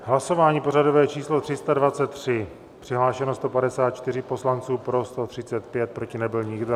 Hlasování pořadové číslo 323, přihlášeno 154 poslanců, pro 135, proti nebyl nikdo.